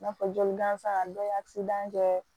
I n'a fɔ joli gansan dɔ ye kɛ